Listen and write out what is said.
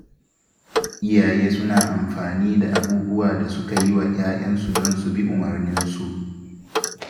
Iyaye suna amfani da abubuwan da suka yi wa ya'yansu don su bi umurninsu